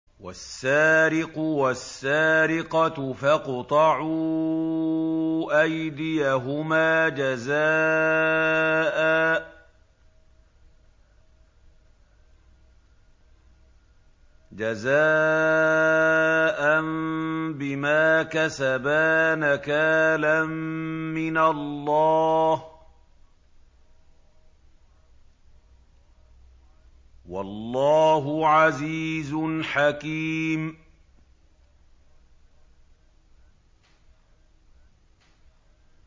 وَالسَّارِقُ وَالسَّارِقَةُ فَاقْطَعُوا أَيْدِيَهُمَا جَزَاءً بِمَا كَسَبَا نَكَالًا مِّنَ اللَّهِ ۗ وَاللَّهُ عَزِيزٌ حَكِيمٌ